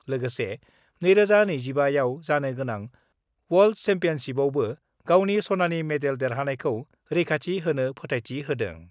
लोगोसे 2025 आव जानो गोनां वर्ल्ड सेम्पियनसिपआवबो गावनि सनानि मेडेल देरहानायखौ रैखाथि होनो फोथायथि होदों।